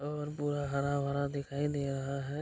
और पूरा हरा-भरा दिखाई दे रहा है --